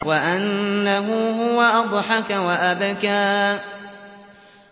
وَأَنَّهُ هُوَ أَضْحَكَ وَأَبْكَىٰ